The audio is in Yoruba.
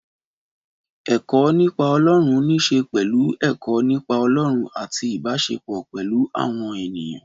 Ẹ̀kọ́ nípa Ọlọ́run níṣe pẹ̀lú ẹ̀kọ́ nípa Ọlọ́run àti ìbáṣepọ̀ pẹ̀lú àwọn ènìyàn.